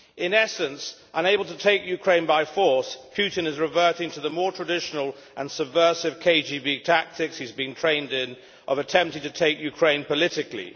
In essence, unable to take Ukraine by force, Putin is reverting to the more traditional and subversive KGB tactics, in which he has been trained, of attempting to take Ukraine politically.